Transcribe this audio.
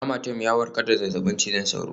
Amatem ya warkar da cutar zazzabin cizon sauro